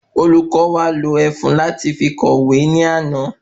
Olùkó wa lo ẹfun lati fi kọ ìwé ní àná